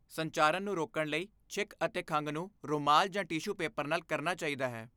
ਸੰਚਾਰਨ ਨੂੰ ਰੋਕਣ ਲਈ, ਛਿੱਕ ਅਤੇ ਖੰਘ ਨੂੰ ਰੁਮਾਲ ਜਾਂ ਟਿਸ਼ੂ ਪੇਪਰ ਨਾਲ ਕਰਨਾ ਚਾਹੀਦਾ ਹੈ।